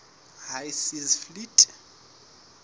high seas fleet